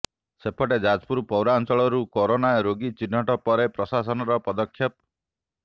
ସେପଟେ ଯାଜପୁର ପୋୖରାଞ୍ଚଳ ରୁ କୋରୋନା ରୋଗୀ ଚିହ୍ନଟ ପରେ ପ୍ରଶାସନ ର ପଦକ୍ଷେପ